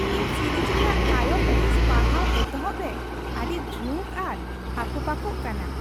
ᱤᱧ ᱥᱤᱨᱤᱡ ᱨᱮᱭᱟᱜ ᱛᱟᱭᱚᱢ ᱦᱤᱸᱥ ᱯᱟᱲᱦᱟᱣ ᱮᱛᱚᱦᱚᱯ ᱨᱮ ᱟᱹᱰᱤ ᱡᱷᱩᱠ ᱟᱨ ᱦᱟᱠᱚᱯᱟᱠᱚ ᱠᱟᱱᱟ !